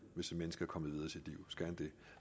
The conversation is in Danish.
hvis et menneske er kommet videre i sit liv